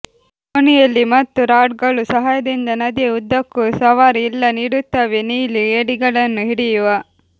ದೋಣಿಯಲ್ಲಿ ಮತ್ತು ರಾಡ್ಗಳು ಸಹಾಯದಿಂದ ನದಿಯ ಉದ್ದಕ್ಕೂ ಸವಾರಿ ಇಲ್ಲ ನೀಡುತ್ತವೆ ನೀಲಿ ಏಡಿಗಳನ್ನು ಹಿಡಿಯುವ